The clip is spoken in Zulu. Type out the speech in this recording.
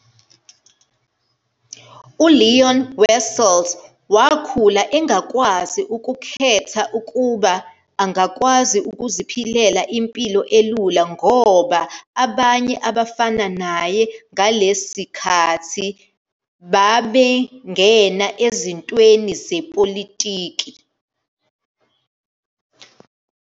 ULeon Wessels wakhula engakwazi ukukhetha ukuba angakwazi ukuziphilela impilo elula ngoba abanye abafana naye ngalesikhathi bebangena ezintweni zepolitiki.